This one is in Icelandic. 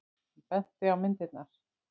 Hann benti á myndirnar.